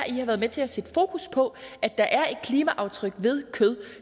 i har været med til at sætte fokus på at der er et klimaaftryk ved kød